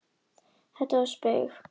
Þetta var spaug. endurtók hann.